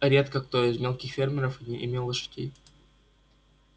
редко кто из мелких фермеров имел лошадей